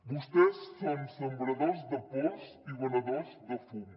vostès són sembradors de pors i venedors de fum